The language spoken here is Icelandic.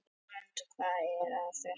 Lárent, hvað er að frétta?